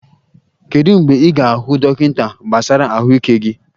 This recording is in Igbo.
Kedu mgbe ị ga-ahụ dọkịta gbasara ahụike gị?